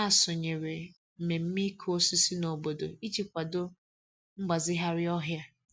Ha sonyere mmemme ịkụ osisi n'obodo iji kwado mgbazigharị ọhịa.